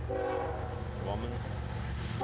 Kvammen